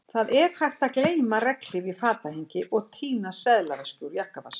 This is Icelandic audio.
Það er hægt að gleyma regnhlíf í fatahengi og týna seðlaveski úr jakkavasa